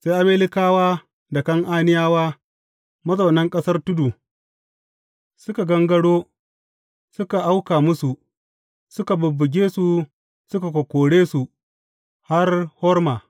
Sai Amalekawa da Kan’aniyawa mazaunan ƙasar tudu, suka gangaro suka auka musu, suka bubbuge su suka kokkore su har Horma.